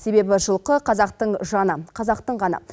себебі жылқы қазақтың жаны қазақтың қаны